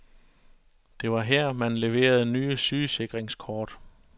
Det var her, man leverede nye sygesikringskort.